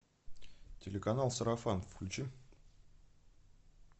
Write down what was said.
телеканал сарафан включи